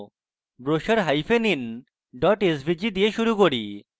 brochurein svg দিয়ে শুরু করি